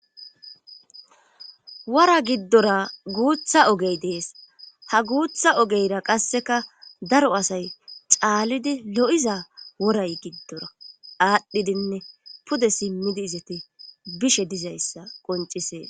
Wora giddora guutha ogey dees ha guutha ogeyra qasseka daro asay caalidi lo7iza woray giddora aadhdhidinne pude simmidi izati bishe dizayssa qoncisee.